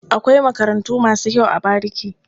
Akwai makarantu masu kyau a bariki.